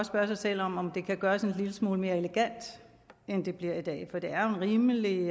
spørge sig selv om om det kan gøres en lille smule mere elegant end det bliver gjort i dag for det er jo en rimelig